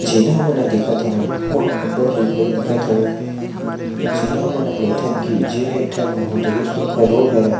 जेला हमन ह देखत हवन ओ ह अब्बड़ सुघ्घर दिखत हवे जेला हमन ह कइथन की जे एक ठो बहुत ही सुघ्घर रोड हरय।